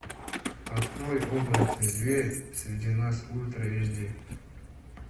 открой оборотень зверь среди нас ультра эйч ди